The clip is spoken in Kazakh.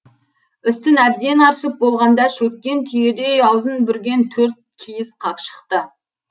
үстін әбден аршып болғанда шөккен түйедей аузын бүрген төрт киіз қап шықты